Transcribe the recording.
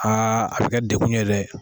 Aa a bi kɛ dekun ye dɛ.